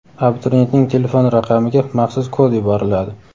abituriyentning telefon raqamiga maxsus kod yuboriladi.